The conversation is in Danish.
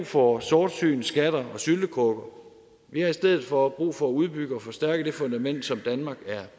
for sortsyn skatter og syltekrukker vi har i stedet for brug for at udbygge og forstærke det fundament som danmark er